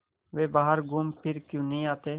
वे बाहर घूमफिर क्यों नहीं आते